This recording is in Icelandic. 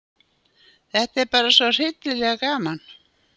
Þetta er bara svo hryllilega gaman